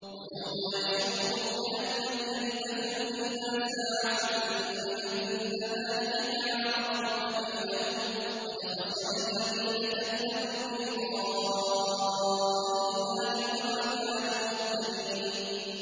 وَيَوْمَ يَحْشُرُهُمْ كَأَن لَّمْ يَلْبَثُوا إِلَّا سَاعَةً مِّنَ النَّهَارِ يَتَعَارَفُونَ بَيْنَهُمْ ۚ قَدْ خَسِرَ الَّذِينَ كَذَّبُوا بِلِقَاءِ اللَّهِ وَمَا كَانُوا مُهْتَدِينَ